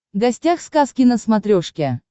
гостях сказки на смотрешке